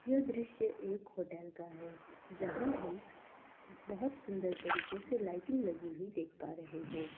ये दृश्य एक होटल का है जहाँ हम बहुत सुन्दर तरीके से लाइटिंग लगी हुई देख पा रहे हैं।